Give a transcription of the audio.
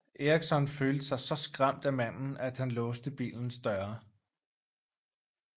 Eriksson følte sig så skræmt af manden at han låste bilens døre